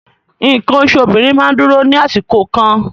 Nǹkan oṣù obìnrin máa ń dúró ní àsìkò kan